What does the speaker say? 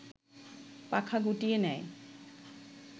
পাখা গুটিয়ে নেয়